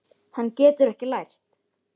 Hann getur ekkert lært.